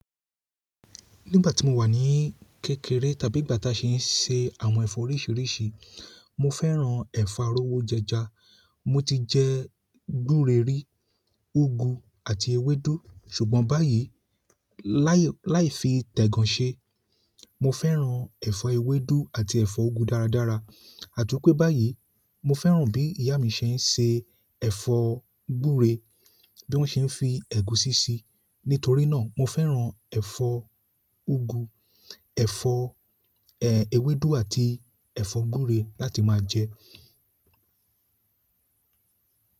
Nígbà tí mo wà ní kékeré tàbí ìgbà táa ṣe ń ṣe àwọn ẹ̀fọ́ oríṣiríṣi, mo fẹ́ràn ẹ̀fọ́ aró wó jẹja, mo ti jẹ gure rí, úgú àti ewédú. Ṣùgbọ́n báyìí láì fii tẹ́ gan ṣe, mo fẹ́ràn ẹ̀fọ́ ewédú àti ẹ̀fọ́ úgú dáradára. Àti wipé báyìí mo fẹ́ràn bí ìyá mi ṣe ń ṣe ẹ̀fọ́ gúre bí wọ́n ṣe ń fi ẹ̀gúsí sí. Nítorí náà mo fẹ́ràn ẹ̀fọ́ úgú, ẹ̀fọ́, ẹ́, ewédú àti ẹ̀fọ́ gúre láti máa jẹ.